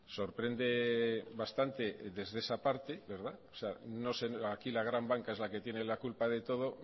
sorprende bastante desde esa parte verdad no sé aquí la gran banca es la que tiene la culpa de todo